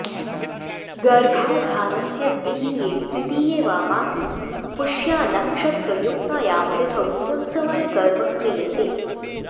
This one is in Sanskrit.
गर्भाधानस्य द्वितीये तृतीये वा मासि पुष्यानक्षत्रयुक्तायां तिथौ पुंसवनकर्म क्रियते